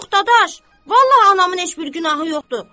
Yox, dadaş, vallah anamın heç bir günahı yoxdur.